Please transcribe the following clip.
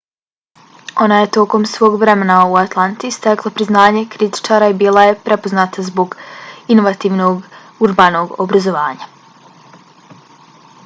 ona je tokom svog vremena u atlanti stekla priznanje kritičara i bila je prepoznata zbog inovativnog urbanog obrazovanja